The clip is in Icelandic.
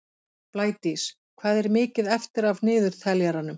Blædís, hvað er mikið eftir af niðurteljaranum?